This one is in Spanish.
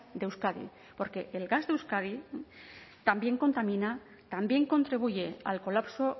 de euskadi porque el gas de euskadi también contamina también contribuye al colapso